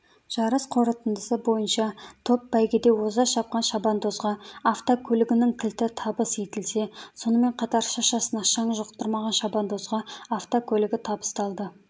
жарыс қорытындысы бойынша топ бәйгеде оза шапқан шабандозға автокөлігінің кілті табыс етілсе сонымен қатар шашасына шаң жұқтырмаған шабандозға автокөлігі табысталды